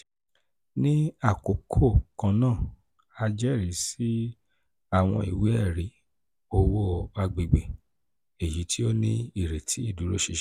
ni akoko kanna a jẹrisi awọn iwe-ẹri owo agbegbe 'b-/b' eyiti o ni ireti iduroṣinṣin.